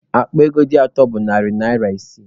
Akpa ego dị atọ bụ narị naira isii.